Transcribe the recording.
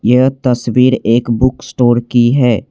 यह तस्वीर एक बुक स्टोर की है।